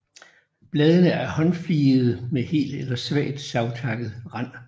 Bladene er håndfligede med hel eller svagt savtakket rand